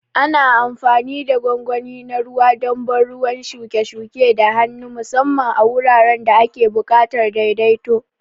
Ana amfani da gwangwani na ruwa don ban ruwan shuke-shuke da hannu, musamman a wuraren da ake buƙatar daidaito.